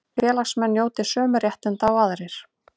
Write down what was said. Félagsmenn njóti sömu réttinda og aðrir